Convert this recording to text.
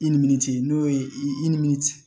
I ni min cɛ n'o ye i nimisi